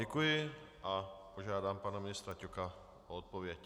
Děkuji a požádám pana ministra Ťoka o odpověď.